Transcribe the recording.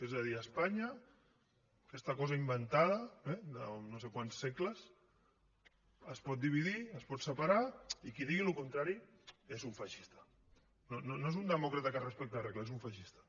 és a dir espanya aquesta cosa inventada de no sé quants segles es pot dividir es pot separar i qui digui el contrari és un feixista no és un demòcrata que respecta les regles és un feixista